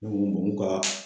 numu ka